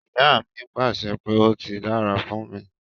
Iya mi pàṣẹ pé 'ó ti dára fún mi'.